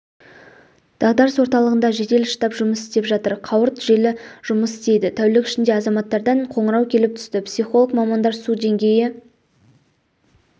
дағдарыс орталығында жедел штаб жұмыс істеп жатыр қауырт желі жұмыс істейді тәулік ішінде азаматтардан қоңырау келіп түсті психолог мамандар су деңгейі